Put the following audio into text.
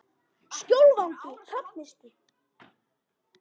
Skjólvangi Hrafnistu